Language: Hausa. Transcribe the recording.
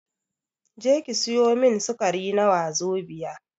Je ki sayo min sukari na wazobia